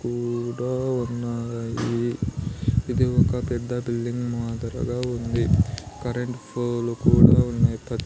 ఈడ ఉన్నాయి ఇది ఒక పెద్ద బిల్డింగ్ మాదిరిగా ఉంది కరెంట్ ఫోలు కూడా ఉన్నయ్.